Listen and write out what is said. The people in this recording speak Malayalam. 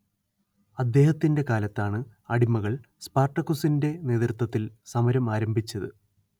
അദ്ദേഹത്തിന്റെ കാലത്താണ് അടിമകൾ സ്പാർട്ടക്കുസിന്റെ നേതൃത്വത്തിൽ സമരം ആരംഭിച്ചത്